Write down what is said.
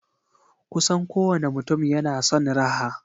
Kusan kowane mutum yana son raha.